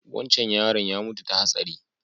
Wancan yaron ya mutu ta hatsari